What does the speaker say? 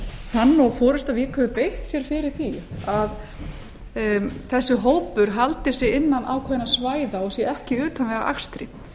hann og forusta vík hefur beitt sér fyrir því að þessi hópur haldi sig innan ákveðinna svæða og sé ekki í utanvegaakstri